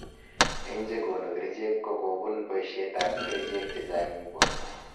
Eng chekonu kerchek ko kobun boishet ab kerchek chechang eng borto